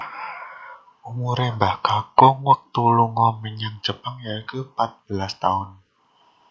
Umure Mbah Kakung wektu lunga menyang Jepang yaiku patbelas taun